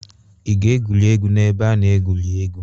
Ị ga-egwurị egwu n'ebe a na-egwu egwuregwu?